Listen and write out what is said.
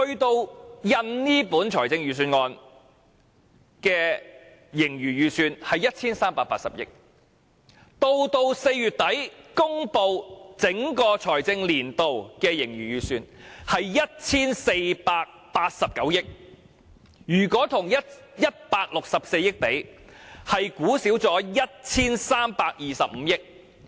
到印刷這份預算案時，盈餘預算是 1,380 億元，在4月底公布整個財政年度的盈餘預算，則為 1,489 億元；如果與164億元相比，預算是少估了 1,325 億元。